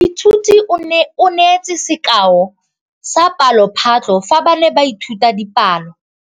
Moithuti o neetse sekaô sa palophatlo fa ba ne ba ithuta dipalo.